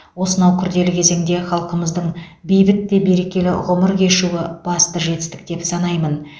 осынау күрделі кезеңде халқымыздың бейбіт те берекелі ғұмыр кешуі басты жетістік деп санаймын